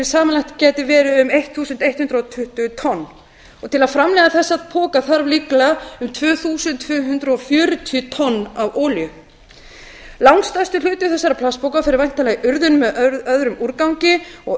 samanlagt gæti verið um ellefu hundruð tuttugu tonn til að framleiða þessa poka þarf líklega um tvö þúsund tvö hundruð fjörutíu tonn af olíu langstærstur hluti þessara plastpoka fer væntanlega í urðun með öðrum úrgangi á